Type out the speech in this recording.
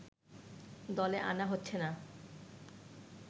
দলে আনা হচ্ছে না